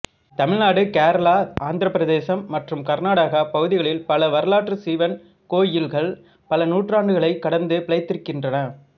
தமிழ்நாடு கேரளா ஆந்திரப் பிரதேசம் மற்றும் கர்நாடகா பகுதிகளில் பல வரலாற்று சிவன் கோயில்கள் பல நூற்றாண்டுகளைக் கடந்து பிழைத்திருக்கின்றன